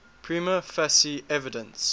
prima facie evidence